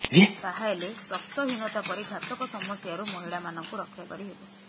ତାହେଲେ ରକ୍ତହୀନତା ପରି ଘାତକ ସମସ୍ୟାରୁ ମହିଳା ମାନଙ୍କୁ ରକ୍ଷା କରିହେବ